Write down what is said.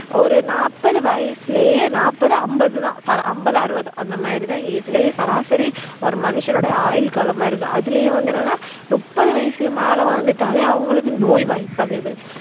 ஒரு நாற்பது வயசுலயே நாற்பது, அம்பது தான் சரா அம்பது அறுவது அந்த மாதிரி தான் age லயே சராசரி ஒரு மனுஷனுடைய ஆயுள் காலமா இருக்கு அதுலயும் வந்து என்னன்னா முப்பது வயசுக்கு மேல வாழ்ந்துட்டாலே அவங்களுக்கு நோய்வாய்ப்படுது